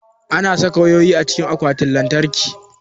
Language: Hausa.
Ana saka wayoyi cikin akwatin lantarki.